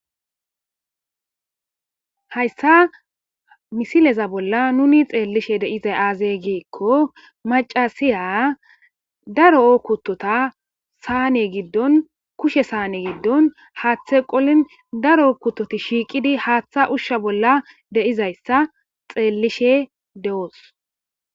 Heysa misilaza bollan nuun tsellishin de'iza aze gikko machasiya darro kutotta saane giddon kushe saane giddon hatthe qollin darro kutotti shiqqidi hattha ushsha bollan de'izaytta tsellishin do'os.